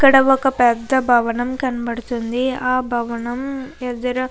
ఇక్కడ ఒక పెద్ద భవనం కనబడుతుంది ఆ భవనం ఎదుర --